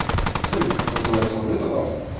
салют как называется валюта в австрии